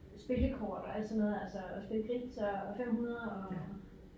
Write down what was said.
Spillekort og alt sådan noget altså at spille gris og 500 og